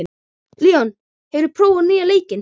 Leon, hefur þú prófað nýja leikinn?